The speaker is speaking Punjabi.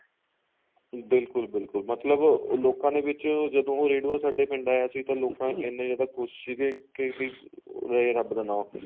ਬਿਲਕੁਲ ਬਿਲਕੁਲ ਮਤਲਬ ਲੋਕਾ ਦੇ ਵਿਚ ਜਦੋਂ ਉਹ ਰੇਡੁਆ ਸਾਡੇ ਪਿੰਡ ਆਇਆ ਸੀ ਤਾਂ ਲੋਕ ਇੰਨੇ ਜਿਆਦਾ ਖੁਸ਼ ਸੀਗੇ ਕੀ ਬੀ ਲਏ ਰੱਬ ਦਾ ਨਾ ing